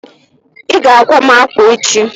iga àkwá mu akwa echi?